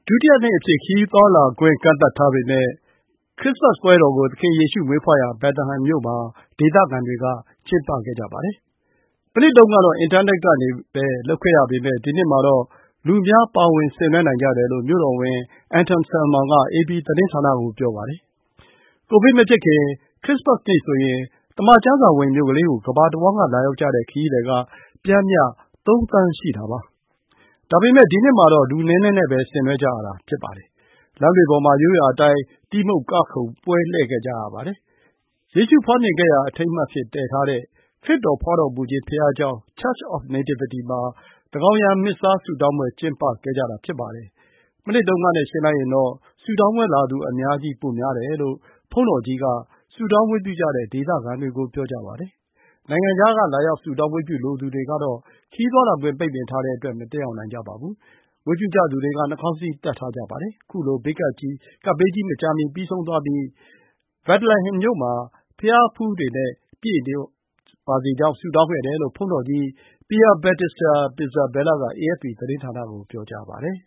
ုတိယနှစ်အဖြစ် ကန့်သတ်ထားပေမယ့် ခရစ္စမတ်ပွဲတော်ကို ဒေသခံတွေက ကျင်းပခဲ့ကြပါတယ်။ မနှစ်တုန်းကတော့ အင်တာနက်ကနေပဲ လုပ်ခဲ့ရပေမယ့် ဒီနှစ်မှာတော့ လူအများ ပါဝင် ဆင်နွှဲနိုင်ကြတယ်လို့ မြို့တော်ဝန် Anton Salman က အေပီသတင်းဌာနကို ပြောပါတယ်။ ကိုဗစ်မဖြစ်ခင် ခရစ္စမတ်နေ့ဆိုရင် သမ္မာကျမ်းစာဝင် မြို့ကလေးကို ကမ္ဘာတဝန်းက လာရောက်ကြတဲ့ ခရီးသည်က ပျမ်းမျှ ၃ သန်း ရှိပါတယ်။ ဒါပေမယ့် ဒီနှစ်မှာတော့ လူနည်းနည်းနဲ့ပဲ ဆင်နွှဲကြရတာပါ။ လမ်းတွေပေါ်မှာ ရိုးရာအတိုင်း တီးမှုတ်ကခုန်ကြပါတယ်။ ယေရှုဖွားမြင်ခဲ့ရာ အထိမ်းအမှတ်အဖြစ် တည်ထားတဲ့ ခရစ်တော် ဖွားတော်မူခြင်း ဘုရားကျောင်း Church of Nativity မှာ သန်းခေါင်ယံ မစ္ဆားဆုတောင်းပွဲ ကျင်းပခဲ့ပါတယ်။ မနှစ်တုန်းကနဲ့ ယှဉ်လိုက်ရင်တော့ ဆုတောင်းပွဲလာသူ အများကြီး ပိုများတယ်လို့ ဘုန်းတော်ကြီးက ဆုတောင်းဝတ်ပြုကြတဲ့ ဒေသခံတွေကို ပြောပါတယ်။ နိုင်ငံခြားက လာရောက် ဆုတောင်းဝတ်ပြုလိုသူတွေကတော့ ခရီးသွားလာခွင့် ပိတ်ပင်ထားတဲ့အတွက် မတက်ရောက်နိုင်ကြပါဘူး။ ဝတ်ပြုကြသူတွေက နှာခေါင်းစည်း တပ်ထားကြတာပါ။ ခုလို ကပ်ဘေးကြီး မကြာမီ ပြီးဆုံးသွားပြီး Bethlehem မှာ ကမ္ဘာ့ဘုရားဖူးတွေနဲ့ ပြည့်နေပါစေကြောင်း ဆုတောင်းခဲ့တယ်လို့ ဘုန်းတော်ကြီး Pierbattista Pizzaballa က အေအက်ဖ်ပီ သတင်းဌာနကို ပြောပါတယ်